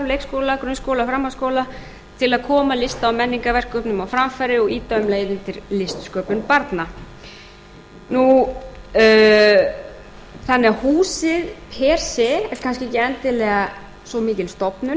leikskóla grunnskóla framhaldsskóla til að koma lista og menningarverkum sínum á framfæri og ýta um leið undir listsköpun barna þannig að húsið er kannski ekki endilega svo mikil stofnun